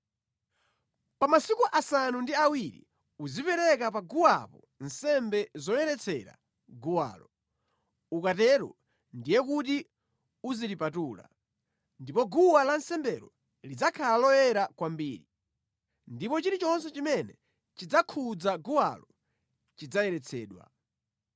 Pa masiku asanu ndi awiri uzipereka pa guwapo nsembe zoyeretsera guwalo, ukatero ndiye kuti uzilipatula. Ndipo guwa lansembelo lidzakhala loyera kwambiri, ndipo chilichonse chimene chidzakhudza guwalo chidzayeretsedwa.